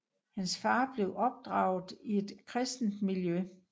Hans far blev opdraget i et kristent miljø